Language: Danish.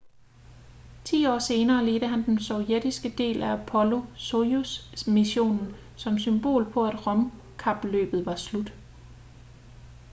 ti år senere ledte han den sovjetiske del af apollo-soyuz-missionen som symbol på at rumkapløbet var slut